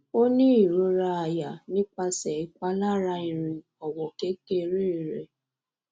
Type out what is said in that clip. o ni irora aya nipase ipalara irin owo kekere re